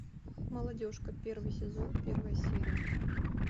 молодежка первый сезон первая серия